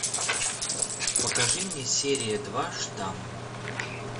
покажи мне серия два штамм